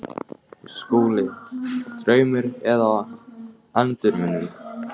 SKÚLI: Draumur eða endurminning?